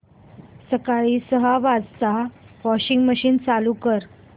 सकाळी सहा वाजता वॉशिंग मशीन चालू कर